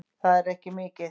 Það er ekki mikið